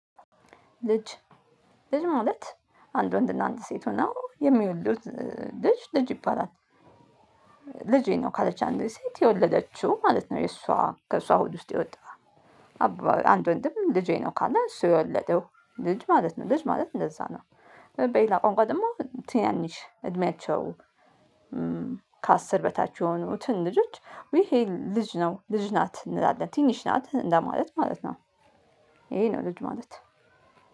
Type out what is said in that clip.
ልጅ ልጅ ማለት አንድ ወንድና አንዲት ሴት ሆነው የሚወልዱት ልጅ ልጅ ይባላል። ልጄ ነው ካለች አንዲት ሴት የወለደችው ማለት ነው የእሷ ከእሷ ሆድ ውስጥ የወጣ። አንድ ወንድም ልጄ ነው ካለ እሱ የወለደው ልጅ ማለት ነው ልጅ ማለት እንደዛ ነው። በሌላ ቋንቋ ደግሞ ትናንሽ እድሜያቸው ከአስር በታች የሆኑትን ልጆች ይሄ ልጅ ነው ልጅ ናት እንላለን ትንሽ ናት እንደማለት ማለት ነው። ይሄ ነው ልጅ ማለት